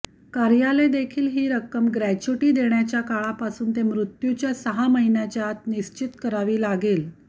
कार्यालय देखील ही रक्कम ग्रेच्युटी देण्याच्या काळापासून ते मृत्यूच्या सहा महिन्याच्या आत निश्चित करावी लागेल